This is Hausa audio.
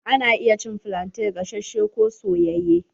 Ana iya cin flante gasashe ko soyayye.